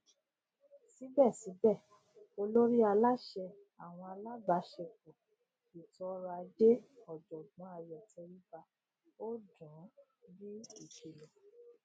síbẹsíbẹ olórí aláṣẹ àwọn alábàáṣẹepọ ètòọrọajé ọjọgbọn ayọ tẹríba ó dùn ún bí ìkìlọ